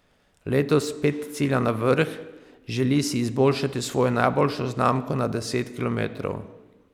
Letos spet cilja na vrh, želi si izboljšati svojo najboljšo znamko na deset kilometrov.